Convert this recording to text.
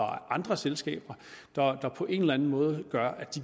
andre selskaber der på en eller anden måde